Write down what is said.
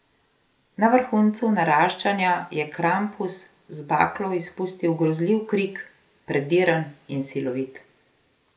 Na vrhuncu naraščanja je Krampus z baklo izpustil grozljiv krik, prediren in silovit.